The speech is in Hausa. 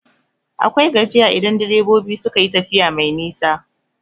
Akwai gajiya idan direbobi suka tafiya mai nisa.